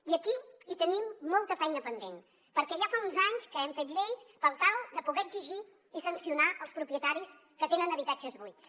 i aquí hi tenim molta feina pendent perquè ja fa uns anys que hem fet lleis per tal de poder exigir i sancionar els propietaris que tenen habitatges buits